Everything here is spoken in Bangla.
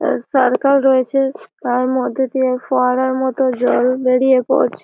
এর সারকাল রয়েছে। আর মধ্যে দিয়ে ফোয়ারার মতো জল বেরিয়ে পড়ছে।